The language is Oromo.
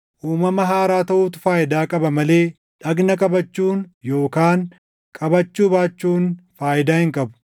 Uumama haaraa taʼuutu faayidaa qaba malee dhagna qabachuun yookaan qabachuu baachuun faayidaa hin qabu.